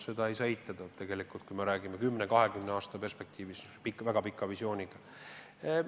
Seda ei saa eitada, kui me räägime kümne-kahekümne aasta perspektiivist, väga pikast visioonist.